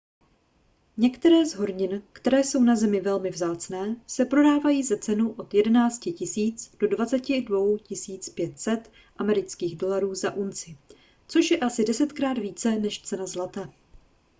některé z hornin které jsou na zemi velmi vzácné se prodávají za cenu od 11 000 do 22 500 usd za unci což je asi desetkrát více než cena zlata